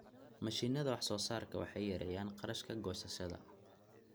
Mashiinnada wax-soo-saarka waxay yareeyaan kharashka goosashada.